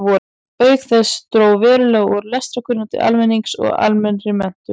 Auk þess dró verulega úr lestrarkunnáttu almennings og almennri menntun.